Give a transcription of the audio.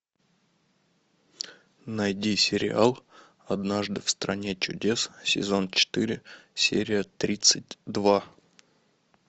найди сериал однажды в стране чудес сезон четыре серия тридцать два